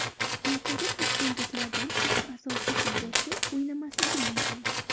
Ertaga toshkentliklardan uch asosiy futbolchi o‘ynamasligi mumkin.